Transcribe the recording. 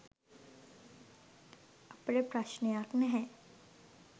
අපට ප්‍රශ්නයක් නැහැ